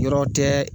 Yɔrɔ tɛ